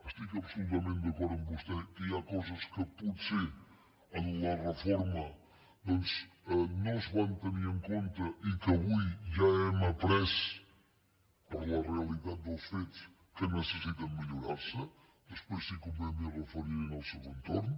estic absolutament d’acord amb vostè que hi ha coses que potser en la reforma doncs no es van tenir en compte i que avui ja hem après per la realitat dels fets que necessiten millorar se després si convé m’hi referiré en el següent torn